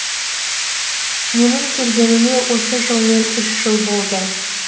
менің келгеніме осы жылмен үш жыл болды